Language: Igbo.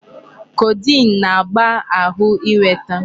Codeine na-agba ahụ ịnweta.